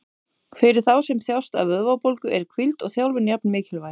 Fyrir þá sem þjást af vöðvabólgu eru hvíld og þjálfun jafn mikilvæg.